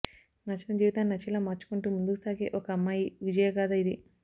నచ్చని జీవితాన్ని నచ్చేలా మార్చుకుంటూ ముందుకు సాగే ఒక అమ్మాయి విజయగాథ ఇది